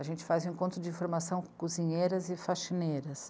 A gente faz um encontro de formação com cozinheiras e faxineiras.